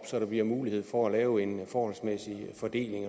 så der bliver mulighed for at lave en forholdsmæssig fordeling